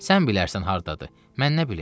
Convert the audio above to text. Sən bilərsən hardadır, mən nə bilim.